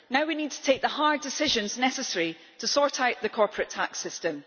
Now we need to take the hard decisions necessary to sort out the corporate tax system.